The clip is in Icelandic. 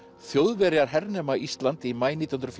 Þjóðverjar hernema Ísland í maí nítján hundruð